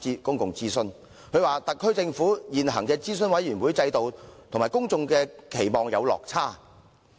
報告指出，"特區政府現行諮詢委員會制度與公眾期望有落差。